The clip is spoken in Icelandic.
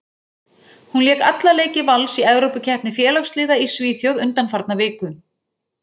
Hún lék alla leiki Vals í Evrópukeppni félagsliða í Svíþjóð undanfarna viku.